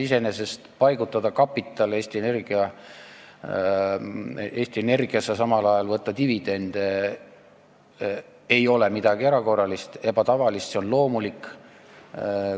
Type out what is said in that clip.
Iseenesest mõte paigutada kapital Eesti Energiasse ja samal ajal võtta dividende ei ole midagi erakorralist, ebatavalist, see on loomulik.